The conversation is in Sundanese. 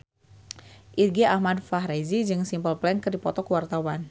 Irgi Ahmad Fahrezi jeung Simple Plan keur dipoto ku wartawan